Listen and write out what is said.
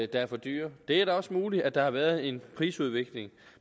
der er for dyre det er da også muligt at der har været en prisudvikling